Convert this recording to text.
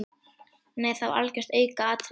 Nei það var algjört aukaatriði.